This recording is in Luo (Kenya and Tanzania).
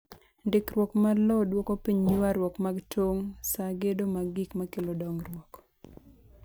Ndikruok mar lowo dwoko piny ywarruok mag tong' saa gedo mag gik makelo dongruok.